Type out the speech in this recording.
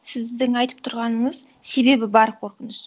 сіздің айтып тұрғаныңыз себебі бар қорқыныш